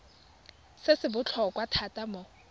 se se botlhokwa thata mo